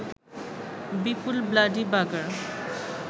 বিপুল bloody বাগার